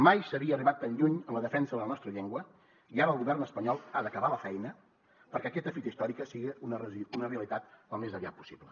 mai s’havia arribat tan lluny en la defensa de la nostra llengua i ara el govern espanyol ha d’acabar la feina perquè aquesta fita històrica sigui una realitat al més aviat possible